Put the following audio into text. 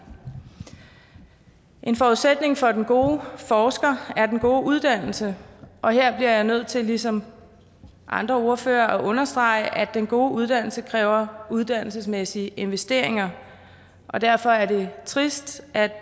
en forudsætning for den gode forsker er den gode uddannelse og her bliver jeg nødt til ligesom andre ordførere at understrege at den gode uddannelse kræver uddannelsesmæssige investeringer derfor er det trist at